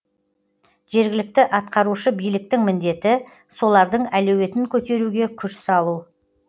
жергілікті атқарушы биліктің міндеті солардың әлеуетін көтеруге күш салу